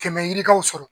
Kɛmɛ yirikaw sɔrɔ